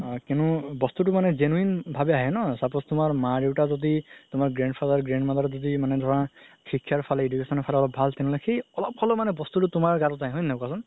আ কিন্তু বস্তু মানে genuine ভাবে আহে ন suppose তুমাৰ মা দেউতা যদি তুমাৰ grandfather grandmother যদি মানে ধৰা শিক্ষাৰ ফালে education ৰ ফালে অলপ ভাল তেনেহ'লে সেই অলপ হ'লেও বস্তুতো তুমাৰ গাত আহে হয় নে নহয় কোৱাচোন